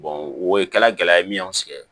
o ye kɛla gɛlɛya ye min y'an sɛgɛn